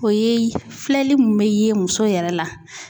O ye filɛli mun bɛ ye muso yɛrɛ la.